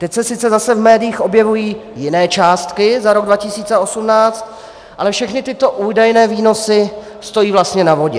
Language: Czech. Teď se sice zase v médiích objevují jiné částky za rok 2018, ale všechny tyto údajné výnosy stojí vlastně na vodě.